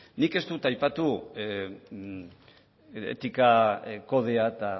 nik ez dut aipatu etika kodea eta